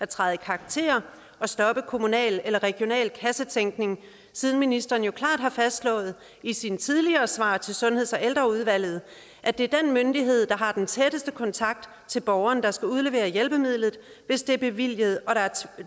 træde i karakter og stoppe kommunal eller regional kassetænkning siden ministeren jo klart har fastslået i sine tidligere svar til sundheds og ældreudvalget at det er den myndighed der har den tætteste kontakt til borgeren der skal udlevere hjælpemidlet hvis det er bevilget og der er